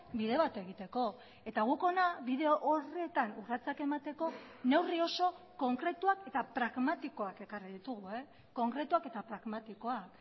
bide bat egiteko eta guk hona bide horretan urratsak emateko neurri oso konkretuak eta pragmatikoak ekarri ditugu konkretuak eta pragmatikoak